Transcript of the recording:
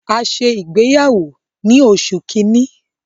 A ṣe ìgbéyàwó ni oṣù kínní.